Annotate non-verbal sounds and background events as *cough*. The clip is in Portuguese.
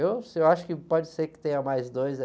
Eu, *unintelligible* acho que pode ser que tenha mais dois aí.